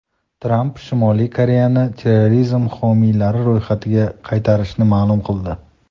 Tramp Shimoliy Koreyani terrorizm homiylari ro‘yxatiga qaytarishini ma’lum qildi.